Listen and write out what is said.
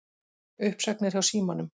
Uppsagnir hjá Símanum